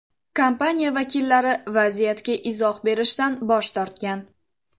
Kompaniya vakillari vaziyatga izoh berishdan bosh tortgan.